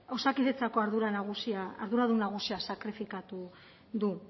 osakidetzako arduradun nagusia sakrifikatu du